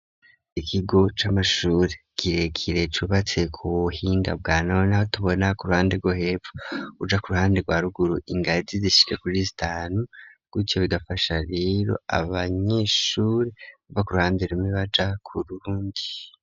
Ikigo c'amashuri kirekire cubatse ku buhinga bwa none, tubona ku ruhande rwo hepfu uja ku ruhande rwa ruguru ,ingazi zishika kuri zitanu ,gutyo bigafasha rero abanyeshuri bava ku ruhande rumwe baja ku rundi.